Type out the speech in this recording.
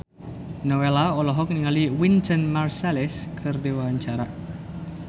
Nowela olohok ningali Wynton Marsalis keur diwawancara